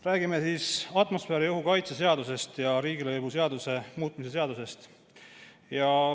Räägime atmosfääriõhu kaitse seadusest ja riigilõivuseaduse muutmise seadusest.